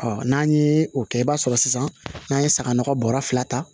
n'an ye o kɛ i b'a sɔrɔ sisan n'an ye saga nɔgɔ bɔrɔ fila